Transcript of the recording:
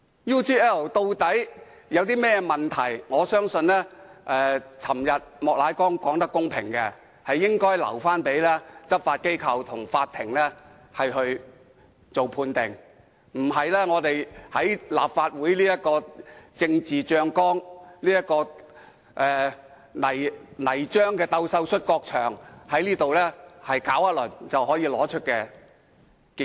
UGL 事件究竟有甚麼問題，我認為莫乃光議員昨天說得公平，應留待執法機構和法庭判定，而不是在立法會這個"政治醬缸"、這個"泥漿鬥獸摔角場"搞一輪便可得出結果。